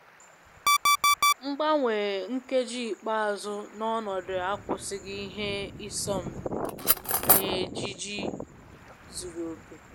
Mgbanwe nkeji ikpeazụ na ọnọdụ akwụsịghị ha ịsọ mpi na ejiji zuru oke